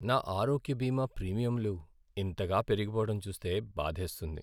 నా ఆరోగ్య బీమా ప్రీమియంలు ఇంతగా పెరిగిపోవడం చూస్తే బాధేస్తుంది.